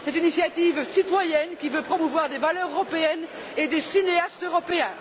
C'est une initiative citoyenne, qui veut promouvoir des valeurs européennes et des cinéastes européens.